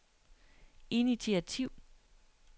initiativ